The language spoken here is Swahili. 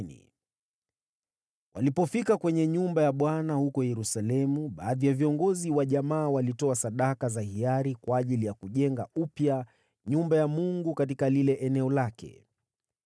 Walipofika kwenye nyumba ya Bwana huko Yerusalemu, baadhi ya viongozi wa jamaa walitoa sadaka za hiari kwa ajili ya kujenga upya nyumba ya Mungu katika eneo lake.